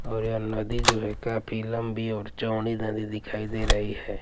और यह नदी जो हैं काफी लंबी और चौड़ी नदी दिखाई दे रही हैं ।